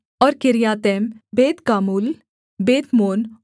और Kiriathaim Beth gamul Beth meon